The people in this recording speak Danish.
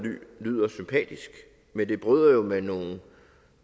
lyder sympatisk men det bryder jo med nogle